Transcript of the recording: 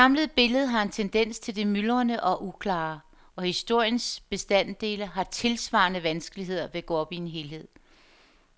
Det samlede billede har en tendens til det myldrende og uklare, og historiens bestanddele har tilsvarende vanskeligheder ved at gå op i en helhed.